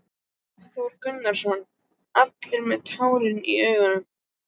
Hafþór Gunnarsson: Allir með tárin í augunum?